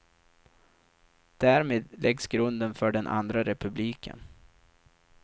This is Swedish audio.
Därmed läggs grunden för den andra republiken.